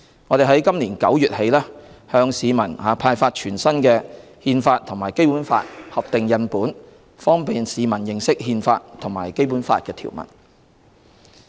我們在今年9月起向市民派發全新的《憲法》和《基本法》合訂印本，方便市民認識《憲法》和《基本法》條文。